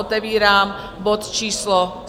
Otevírám bod číslo